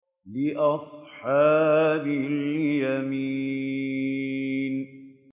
لِّأَصْحَابِ الْيَمِينِ